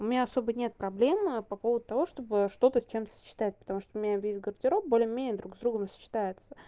у меня особо нет проблемы по поводу того чтобы что-то с чем-то сочетать потому что у меня весь гардероб более-менее друг с другом сочетается